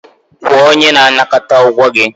Kwụọ onye na-anakọta ụgwọ gị.